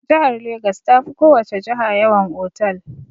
Jihar Legas ta fi ko wace jiha yawan otal.